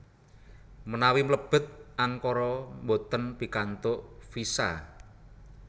Menawi mlebet Ankara mboten pikantuk visa